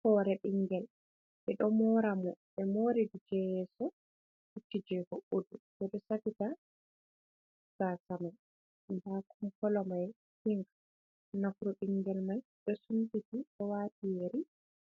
Hore ɓingel ɓe ɗo mora mo, ɓe mori je yeso lutti je hoɓɓudu, je ɗo safita gasa mai ha kolo mai pink nafru bingel mai do sunpiti bo wati yeri